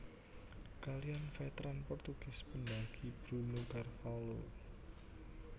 Kaliyan Veteran Portugis Pendakiy Bruno carvalho